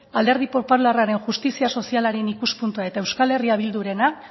alderdi popularraren justizia sozialaren ikuspuntua eta euskal herria bildurena